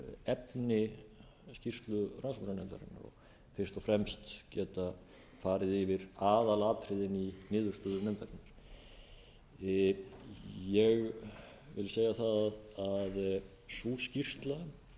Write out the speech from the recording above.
efni skýrslu rannsóknarnefndarinnar fyrst og fremst að geta farið yfir aðalatriðin í niðurstöðum nefndarinnar ég vil segja það að sú